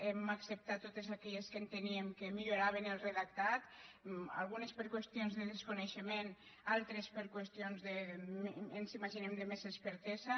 hem acceptat totes aquelles que enteníem que en milloraven el redactat algunes per qüestions de desconeixement altres per qüestions ens imaginem de més expertesa